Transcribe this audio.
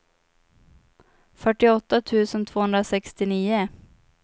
fyrtioåtta tusen tvåhundrasextionio